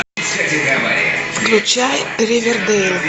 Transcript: включай ривердейл